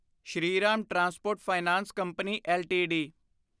Shriram transport finance company LTD